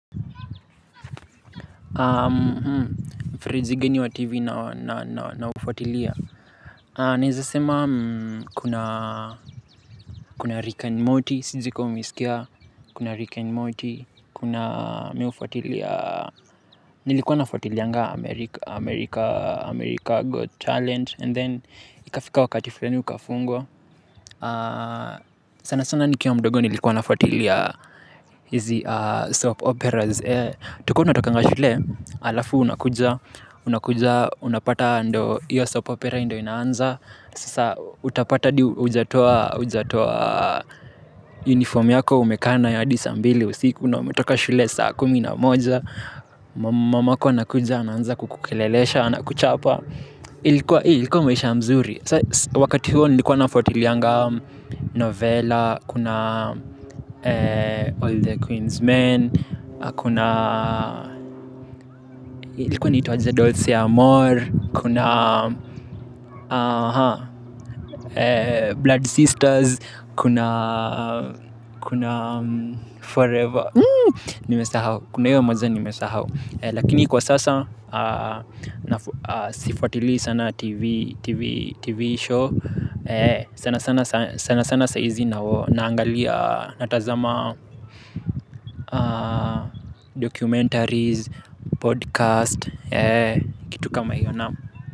Fridji gani wa TV naofuatilia. Naeza sema kuna kuna rika and moti, sijui ka umeisikia. Kuna rik and moti, kuna mihufuatilia. Nilikuwa nafuatilianga America Got Talent And then, ikafika wakati flani ukafungwa. Sana sana nikiwa mdogo nilikuwa nafuatilia. Hizi soap operas. Tuko natokanga shule, alafu unakuja unapata ndo iyo soap opera ndio inaanza. Sasa utapata hadi hujatoa uniform yako umekaa nayo hadi saa mbili usiku na unaumetoka shule saa kumi na moja. Mamako anakuja ananza kukulelesha, anakuchapa. Ilikuwa ilikuwa maisha mzuri. Wakati huo nilikuwa nafuatilianga novella. Kuna All the Queensmen. Kuna ilikuwa inaitwa aje Dolce Amore. Kuna Blood Sisters. Kuna Forever kuna hio moja. Nimesahau. Lakini kwa sasa sifuatili sana TV show. Sana sana sana sana saizi naangalia. Natazama Documentaries Podcast. Kitu kama hiyo naam.